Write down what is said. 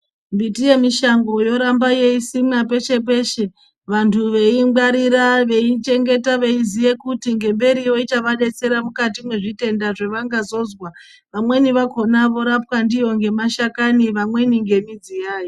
Mbiti yemisango yoramba yeisimwa peshe-peshe. Vantu veiingwarira, veiichengeta veiziye kuti ngemberiyo ichavadetsera mukati mwezvitenda zvevangazozwa. Vamweni vakona vorapwa ndiyo ngemashakani, vamweni ngemidzi yayo.